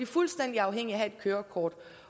fuldstændig afhængige af at have et kørekort